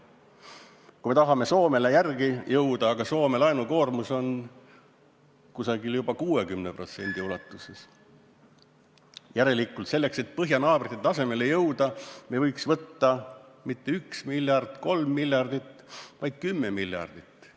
Kui me tahame Soomele järele jõuda , aga Soome laenukoormus on juba 60%, siis järelikult selleks, et põhjanaabrite tasemele jõuda, me võiks võtta mitte 1 miljardi või 3 miljardit, vaid 10 miljardit laenu.